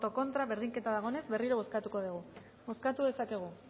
contra berdinketa dagoenez berriro bozkatuko dugu bozkatu dezakegu